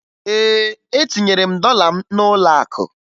Ee, etinyere m dọla m n'ụlọakụ